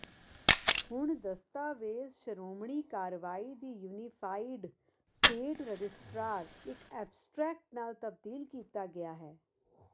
ਹੁਣ ਦਸਤਾਵੇਜ਼ ਸ਼ੋਮਣੀ ਕਾਰਵਾਈ ਦੀ ਯੂਨੀਫਾਈਡ ਸਟੇਟ ਰਜਿਸਟਰ ਇੱਕ ਐਬਸਟਰੈਕਟ ਨਾਲ ਤਬਦੀਲ ਕੀਤਾ ਗਿਆ ਹੈ